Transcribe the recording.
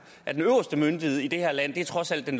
at den øverste myndighed i det her land trods alt er